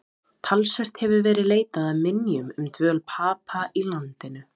Talsvert hefur verið leitað að minjum um dvöl Papa í landinu.